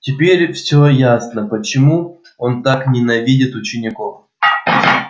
теперь всё ясно почему он так ненавидит учеников